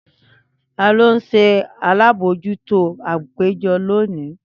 Tani o nṣe alabojuto apejọ loni?